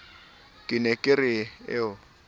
ke ne ke re o